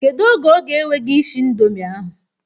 Kedu oge ọ ga-ewe gị ishi ịndomi ahụ?